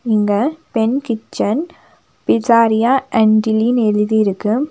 இங்க பெண் kitchen pizzeria and டில்லினு எழுதிருக்கு.